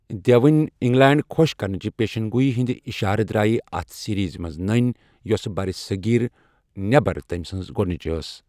دیوٕنۍ England خۄش کرنٕچہِ پیشنگوٗیی ہٕندِ اِشارٕ درٛایہ اتھ سیریزِ منز نٔنۍ، یۄسہٕ برِ صغیٖرٕ نٮ۪بر تٔمۍ سٕنز گوڈنچ ٲس۔